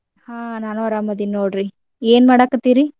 ಹಾ ನಾನು ಅರಾಮದಿನ ನೋಡ್ರಿ ಏನ್ ಮಾಡಾಕತ್ತೀರಿ?